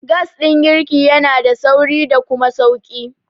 Gas ɗin girki yanada sauri da kuma sauƙi.